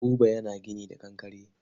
Buba yana gini da kankare.